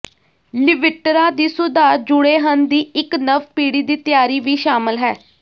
ਲਿਵਿਟਰਾ ਵੀ ਸੁਧਾਰ ਜੁੜੇਹਨ ਦੀ ਇੱਕ ਨਵ ਪੀੜ੍ਹੀ ਦੀ ਤਿਆਰੀ ਵੀ ਸ਼ਾਮਲ ਹੈ